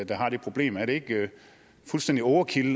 der har det problem er det ikke fuldstændig overkill